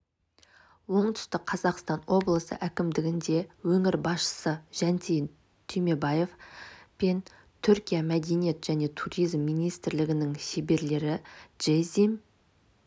оңтүстік қазақстан облысы әкімдігінде өңір басшысы жансейіт түймебаев пен түркияның мәдениет және туризм министрлігінің шеберлері джеззим